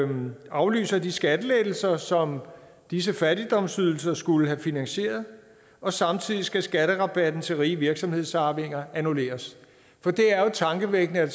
man aflyser de skattelettelser som disse fattigdomsydelser skulle have finansieret og samtidig skal skatterabatten til rige virksomhedsarvinger annulleres for det er jo tankevækkende at